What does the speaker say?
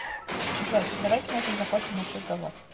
джой давайте на этом закончим наш разговор